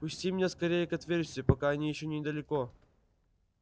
пусти меня скорее к отверстию пока они ещё недалеко